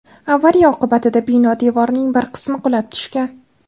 Avariya oqibatida bino devorining bir qismi qulab tushgan.